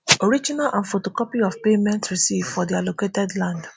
original and photocopy of payment receipt for di allocated land